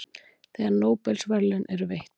þegar nóbelsverðlaun eru veitt